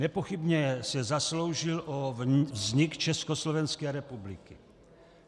Nepochybně se zasloužil o vznik Československé republiky.